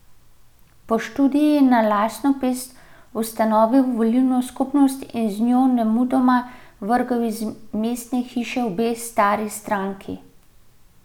Po študiju je na lastno pest ustanovil volilno skupnost in z njo nemudoma vrgel iz mestne hiše obe stari stranki.